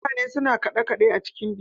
Mutane suna kaɗe- kaɗe a cikin biki.